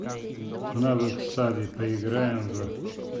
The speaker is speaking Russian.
навык сави поиграем в